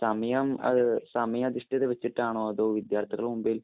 സമയം അത് സമയ അധിഷ്ഠത വച്ചിട്ടാണോ, അതോ വിദ്യാര്‍ത്ഥികളുടെ മുമ്പില്‍